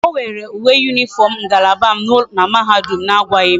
O were uwe uniform ngalaba m na mahadum a agwaghi m